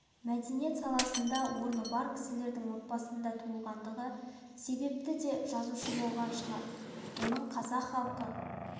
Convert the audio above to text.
мәдениет саласында орны бар кісілердің отбасында туылғандығы себепті де жазушы болған шығар оның қазақ халық